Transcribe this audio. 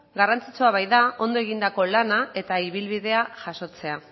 garrantzitsua baita ondo egindako lana eta ibilbidea jasotzea